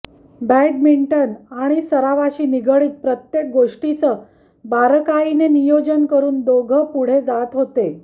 badminton आणि सरावाशी निगडित प्रत्येक गोष्टीचं बारकाईने नियोजन करून दोघं पुढे जात होते